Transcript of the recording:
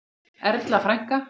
Erla frænka.